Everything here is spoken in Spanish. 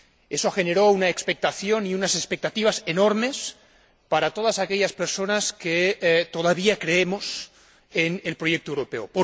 Eso generó una expectación y unas expectativas enormes para todas aquellas personas que todavía creemos en el proyecto europeo.